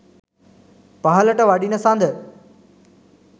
පහළට වඩින සඳ